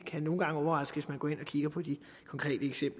kan nogle gange overraske